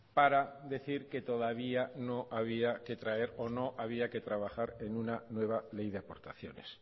para decir que todavía no había que traer o no había que trabajar en una nueva ley de aportaciones